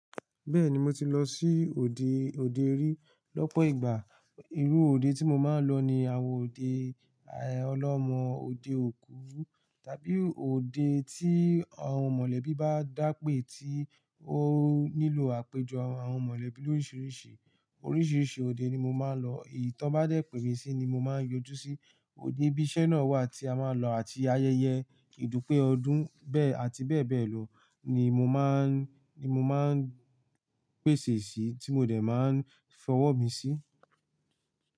Bẹ́ẹ̀ni mo ti lọ sí òde òde rí lọ́pọ̀ ìgbà. Irú òde tí mo máa ń lọ ni àwọn òde ọlọ́mọ, òde òkú tàbí òde tí àwọn mọ̀lẹ́bí bá dá pé tí ó nílò àpéjọ àwọn mọ̀lẹ́bí lóriṣìriṣì. Oríṣìíríṣìí òde ni mo máa ń lọ. Èyí tí wọ́n bá dẹ́ pè mí sí ni mo máa ń yọjú sí. Òde ibi iṣẹ́ náà wà tí a máa lọ àti ayẹyẹ ìdúpé ọdún bẹ́ẹ̀ àti bẹ́ẹ̀ bẹ́ẹ̀ lọ ni mo má ń, ni mo máa ń pèsè sí tí mo dẹ̀ máa ń fọwọ́ mi sí.